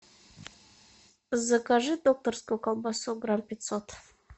закажи докторскую колбасу грамм пятьсот